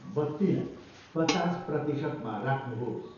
बत्तीलाई पचास प्रतिशतमा राख्नुहोस्